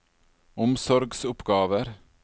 omsorgsoppgaver